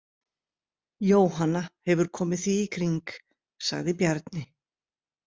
Jóhanna hefur komið því í kring, sagði Bjarni.